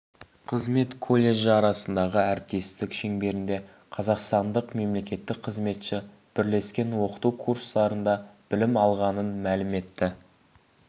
қызмет колледжі арасындағы әріптестік шеңберінде қазақстандық мемлекеттік қызметші бірлескен оқыту курстарында білім алғанын мәлім етті